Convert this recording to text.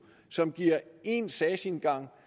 som giver én sagsindgang